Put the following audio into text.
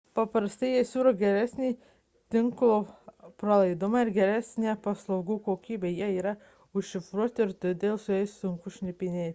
paprastai jie siūlo geresnį tinklo pralaidumą ir geresnę paslaugų kokybę jie yra užšifruoti ir todėl juos sunkiau šnipinėti